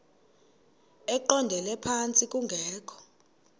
eqondele phantsi kungekho